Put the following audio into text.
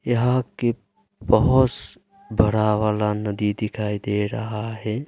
यहां की बहुत बड़ा वाला नदी दिखाई दे रहा है।